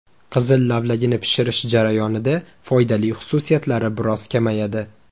Qizil lavlagini pishirish jarayonida foydali xususiyatlari biroz kamayadi.